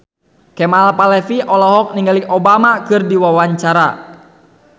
Kemal Palevi olohok ningali Obama keur diwawancara